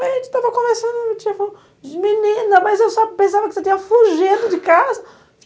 A gente estava conversando e a minha tia falou, menina, mas eu só pensava que você tinha fugido de casa.